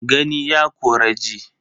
Gani ya kori ji.